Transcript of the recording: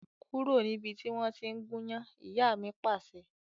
Kúrò níbi tí wọn tí ń gúnyán! Ìyá mi Pàṣẹ.